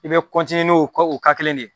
I bɛ ni o ka kelen de ye.